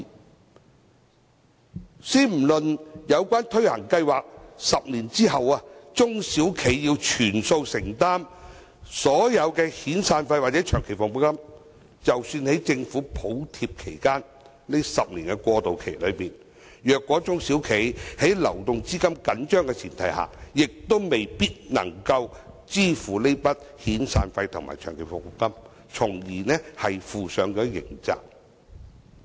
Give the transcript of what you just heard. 莫說在推行有關計劃的10年後，中小企要全數承擔所有遣散費或長期服務金，即使在政府補貼的10年過渡期內，如果中小企的流動資金緊張，亦未必能支付這筆遣散費和長期服務金，從而要負上刑責。